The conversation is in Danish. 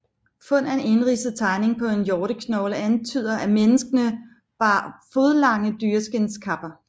Fund af en indridset tegning på en hjorteknogle antyder at menneskene bar fodlange dyreskindskapper